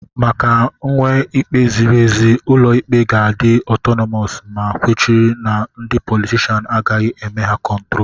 Maka nwee ikpe ziri ezi, ụlọ ikpe ga-adi otonomos, ma kwechiri na ndị politishans agaghị eme ha kontrol.